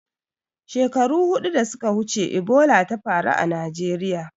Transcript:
Shekaru huɗu da suka wuce Ebola ta faru a Najeriya.